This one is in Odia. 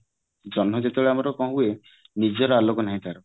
ଜହଁ ଯେତେବେଳେ ଆମର କଣ ହୁଏ ନିଜର ଆଲୋକ ନାହିଁ ତାର